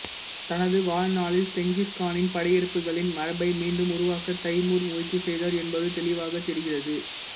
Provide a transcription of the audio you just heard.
தனது வாழ்நாளில் செங்கிஸ்கானின் படையெடுப்புகளின் மரபை மீண்டும் உருவாக்க தைமூர் முயற்சி செய்தார் என்பது தெளிவாகத் தெரிகிறது